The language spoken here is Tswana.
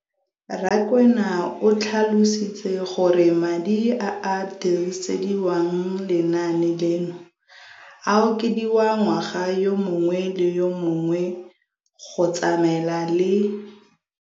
Rakwena o tlhalositse gore madi a a dirisediwang lenaane leno a okediwa ngwaga yo mongwe le yo mongwe go tsamaelana le